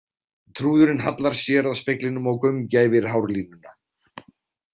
Trúðurinn hallar sér að speglinum og gaumgæfir hárlínuna.